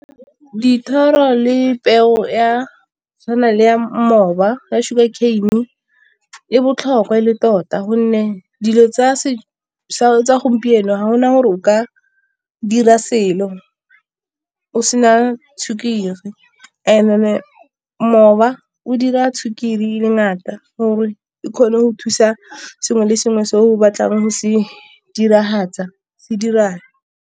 Dithoro le peo ya tshwana le ya moba ya sugar cain-i e botlhokwa e le tota gonne dilo tsa gompieno ga gona gore o ka dira selo o sena sukiri moba o dira sukiri e le ngata gore e kgone go thusa sengwe le sengwe se o batlang go se diragatsa se dirang.